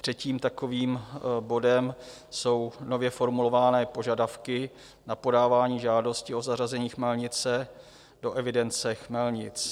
Třetím takovým bodem jsou nově formulované požadavky na podávání žádosti o zařazení chmelnice do evidence chmelnic.